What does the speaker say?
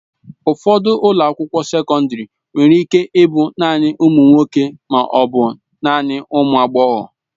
Ụfọdụ ụlọ akwụkwọ sekọndrị nwere ike ịbụ naanị ụmụ nwoke ma ọ bụ naanị ụmụ agbọghọ.